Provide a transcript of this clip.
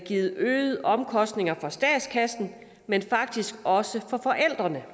givet øgede omkostninger for statskassen men faktisk også for forældrene